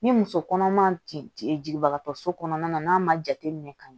Ni muso kɔnɔma ti jigibagatɔ so kɔnɔna na n'a ma jateminɛ ka ɲɛ